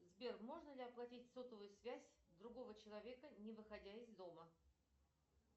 сбер можно ли оплатить сотовую связь другого человека не выходя из дома